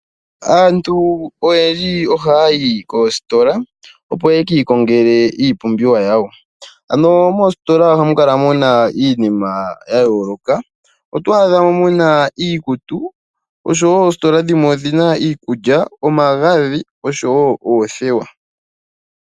Aantu oyendji ohaa yii koositola, opo ye ki ikongele iipumbiwa yawo. Ano moositola oha mu kala mu na iinima ya yooloka. Otwaadha mo mu na iikutu, osho wo osioositola dhmwe odhi na iikutu, iikulya, omagadhi osho wo oothewa.